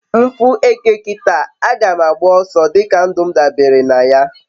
m fu eke kita, aga ma agba oso dika ndum dabere naya